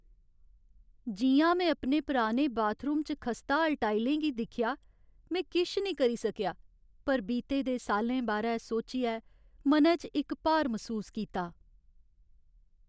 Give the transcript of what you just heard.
जि'यां में अपने पुराने बाथरूम च खस्ताहाल टाइलें गी दिक्खेआ, में किश करी निं सकेआ पर बीते दे साल्लें बारै सोचियै मनै च इक भार मसूस कीता।